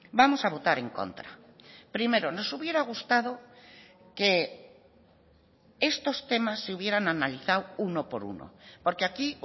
vamos a votar en contra primero nos hubiera gustado que estos temas se hubieran analizado uno por uno porque aquí